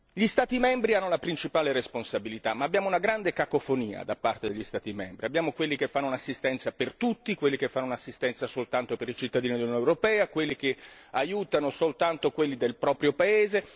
Gli Stati membri hanno la principale responsabilità, ma abbiamo una grande cacofonia tra di essi abbiamo quelli che fanno un'assistenza per tutti, quelli che fanno un'assistenza soltanto per i cittadini dell'Unione europea, quelli che aiutano soltanto quelli del proprio paese